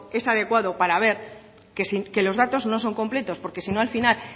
es adecuado para ver que los datos no son completos porque si no al final